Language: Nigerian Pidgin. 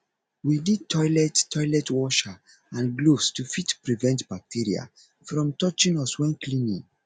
we need toilet toilet washer and gloves to fit prevent bacteria from touching us when cleaning